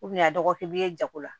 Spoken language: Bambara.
a dɔgɔkun bɛ ye jago la